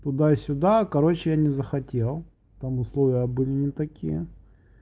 туда-сюда короче я не захотел там условия были не такие